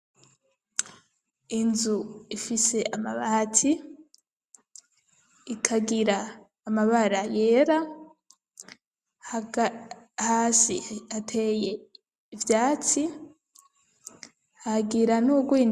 Inzu ifise amabati ikagira amabara yera hasi ateye ivyatsi hagira ni ugwna.